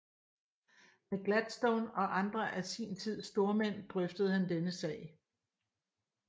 Med Gladstone og andre af sin tids stormænd drøftede han denne sag